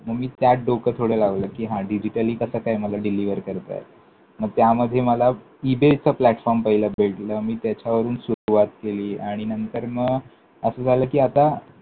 मग मी त्यात डोकं थोडं लावलं, कि हां digitally कसं काय मला deliver करता येईल? मग त्यामध्ये मला इबेचा platform पहिला भेटला. मी त्याच्यावरून सुरुवात केली आणि नंतर मग असं झालं कि, आता